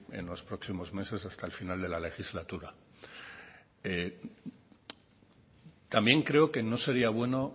en los próximos meses hasta el final de la legislatura también creo que no sería bueno